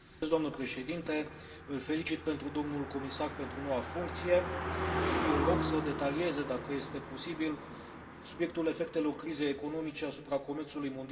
Îl felicit pe domnul comisar pentru noua funcție și îl rog să detalieze, dacă este posibil, subiectul efectelor crizei economice asupra comerțului mondial cu produse agricole.